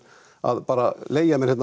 að bara leigja mér